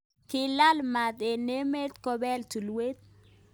Kilal mat eng emet kobel tulwet.